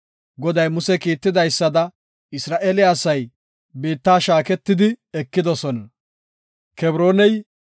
Goday Muse kiitidaysada Isra7eele asay biitta shaaketidi ekidosona.